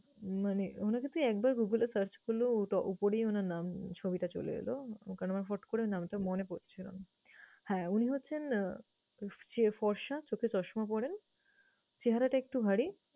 মানে উনাকে তুই একবার google এ search করলেও ওটা উপরেই উনার নাম, ছবিটা চলে এলো। এখন আমার হুট্ করে নামটা মনে পরছে না। হ্যাঁ উনি হচ্ছেন আহ তোর ফর্সা, চোখে চশমা পরেন, চেহারাটা একটু ভারী